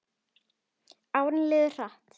Árin liðu hratt.